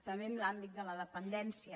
també en l’àmbit de la dependència